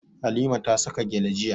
Halima ta saka gyale jiya.